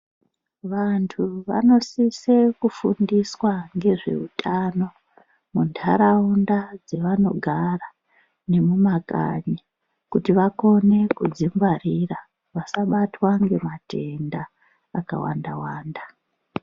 Vantu vanosise kufundiswa ngezveutano mundaraunda dzevanogara nemumakanyi kuti vakone kudzingwarira vasabatwa nematenda akawanda wanda.